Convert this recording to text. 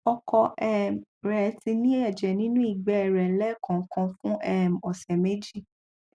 ọkọ um rẹ ti ní ẹjẹ nínú ìgbé rẹ lẹẹkọọkan fún um ọsẹ méjì